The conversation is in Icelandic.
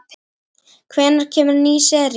Hvenær kemur ný sería?